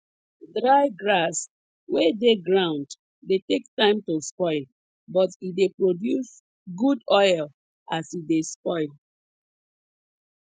dry grass wey dey ground dey take time to spoil but e dey produce good oil as e dey spoil